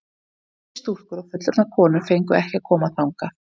En eldri stúlkur og fullorðnar konur fengu ekki að koma þangað.